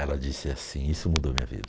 Ela disse assim: isso mudou minha vida.